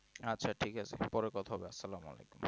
আচ্ছা ঠিক আছে পরে কথা হবে সালাম আলাইকুম